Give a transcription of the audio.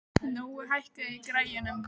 Nói, hækkaðu í græjunum.